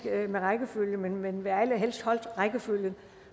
med rækkefølgen men vil allerhelst holde rækkefølgen